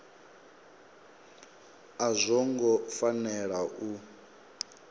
a zwo ngo fanela u